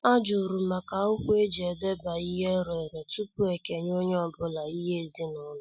Ajurum maka akwụkwọ eji edeba ihe ereree tupu ekenye onye ọbụla ihe ezinaụlọ.